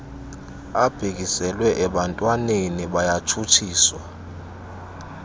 abhekiselwe ebantwananeni bayatshutshiswa